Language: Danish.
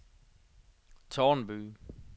Tårnby